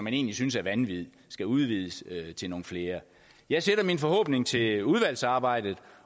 egentlig synes er vanvittig skal udvides til nogle flere jeg sætter min forhåbning til udvalgsarbejdet